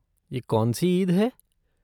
ये कौनसी ईद है?